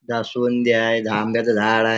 जास्वंदी आहे आंब्याचं झाड आहे.